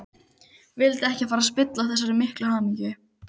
Vildi ekki fara að spilla þessari miklu hamingju.